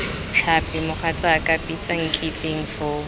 tlhapi mogatsaaka bitsa nkitsing foo